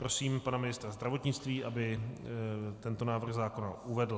Prosím pana ministra zdravotnictví, aby tento návrh zákona uvedl.